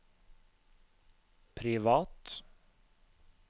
privat